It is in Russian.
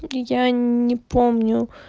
я не помню